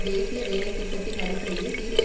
தேசிய வேலைதிட்டத்தின் அடிப்படையில் தீர்வை